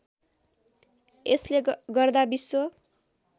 यसले गर्दा विश्व